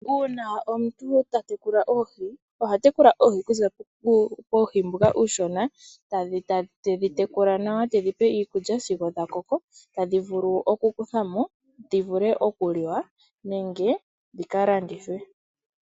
Uuna omuntu ta tekula oohi, oha tekula oohi okuza puuhi mbuka uushona tedhi tekula nawa, tedhi pe iikulya sigo dha koko tadhi vulu okukuthwa mo dhi vule okuliwa nenge dhi ka landithwe.